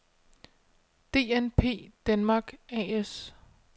DNP denmark A/S